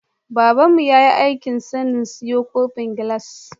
Babanmu ya aiki sani siyo kofin gilas